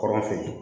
Kɔrɔ fɛ